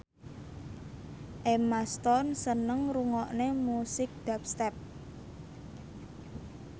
Emma Stone seneng ngrungokne musik dubstep